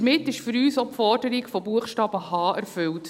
Damit ist für uns auch die Forderung von Buchstabe h erfüllt.